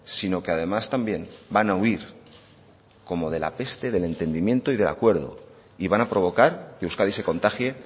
sino que además también van a huir como de la peste del entendimiento y del acuerdo y van a provocar que euskadi se contagie